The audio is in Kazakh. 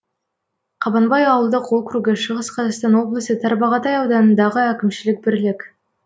қабанбай ауылдық округі шығыс қазақстан облысы тарбағатай ауданындағы әкімшілік бірлік